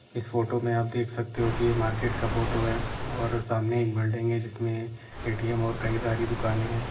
इस फोटो में आप देख सकते हो की ये मार्केट का फोटो है और सामने एक बिल्डिंग है जिसमे ए.टी.एम. और कई सारी दुकाने हैं।